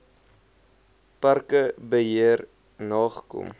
parke beheer nagekom